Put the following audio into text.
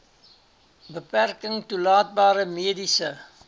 beperking toelaatbare mediese